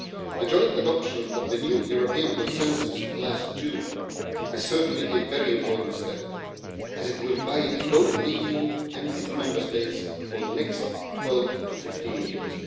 The joint adoption of the new European consensus last June is certainly a very important step, as it will guide both the EU and its Member States for the next 12 to 15 years.